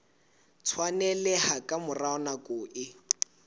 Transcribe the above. tshwaneleha ka mora nako e